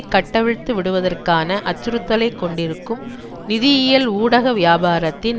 கட்டவிழ்த்து விடுவதற்கான அச்சுறுத்தலை கொண்டிருக்கும் நிதியியல் ஊகவியாபாரத்தின்